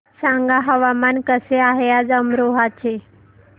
सांगा हवामान कसे आहे आज अमरोहा चे